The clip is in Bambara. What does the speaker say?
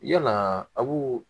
Yalaa aw